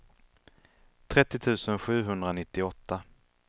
trettio tusen sjuhundranittioåtta